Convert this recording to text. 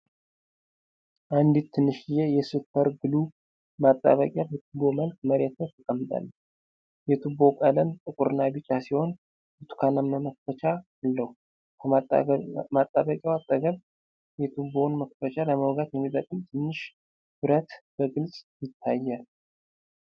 አንዲት ትንሽዬ የ'ሱፐር ግሉ' ማጣበቂያ በቱቦ መልክ መሬት ላይ ተቀምጣለች። የቱቦው ቀለም ጥቁርና ቢጫ ሲሆን፣ ብርቱካናማ መክፈቻ አለው። ከማጣበቂያው አጠገብ፣ የቱቦውን መክፈቻ ለመወጋት የሚጠቅም ትንሽ ብረት በግልጽ ይታያል።